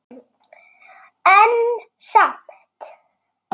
En samt.